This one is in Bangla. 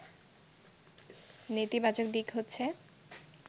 “নেতিবাচক দিক হচ্ছে